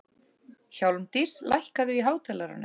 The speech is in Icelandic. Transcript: Hjálmdís, lækkaðu í hátalaranum.